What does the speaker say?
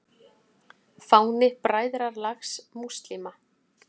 Fáni Bræðralags múslíma.